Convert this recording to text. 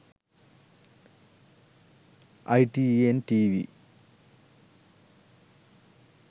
itntv